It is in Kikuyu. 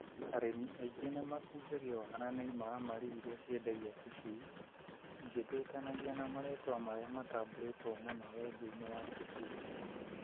Arĩmi aingĩ nĩmakungagio wara nĩ imaramari iria ciendagia tũcui igĩtwĩtanagia na marĩtwa marĩa matambũrĩtwo mũno wendia-inĩ wa tũcui.